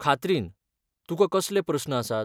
खात्रीन, तुकां कसले प्रस्न आसात?